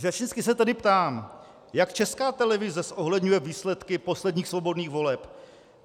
Řečnicky se tedy ptám: Jak Česká televize zohledňuje výsledky posledních svobodných voleb?